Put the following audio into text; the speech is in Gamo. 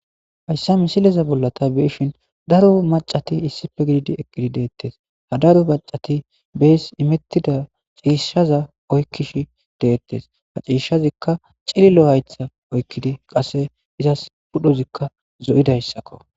Hayssa misileza bolla ta beyishin daro macati issippe gididi eqqidi deettes. ha daro macati bees imettida ciishshaza oykkishe deettes. ha ciishshazikka cililo haytha oykkidi qasse izas pudhozikka zo'idayssakko.